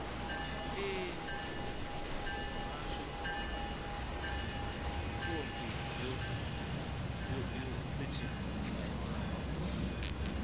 ṋee muhasho khophi yo sethifaiwaho